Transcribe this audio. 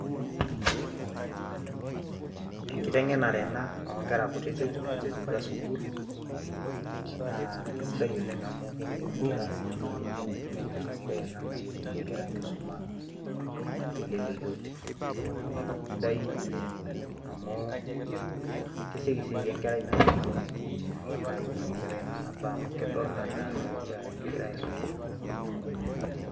Enkiteng'enare ena o nkera kutitik naiterutua sukuul naa kesidai oleng' amu keng'enu nkera sii naake ibung' naa enkoitoi sidai ena nayolounye nkera enkisuma teleleki oleng'. Naa kesidai amu kesioki sii aiko enkerai metubulu naake ibung' enkerai nena baa amu kedol naa naake igira aisum.